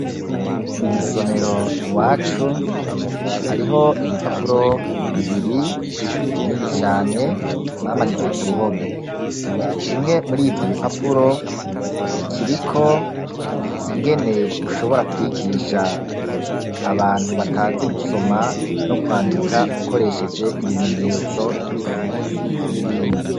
Mw'isomero iwacu, hariho ibipapuro bibiri binini cane bamanitse ku ruhome; kimwe muri ivyo bipapuro, kiriko ingene ushobora kwigisha abantu batazi gusoma no kwandika, ukoresheje ibimenyetso nk'ibipfunsi n'ibindi.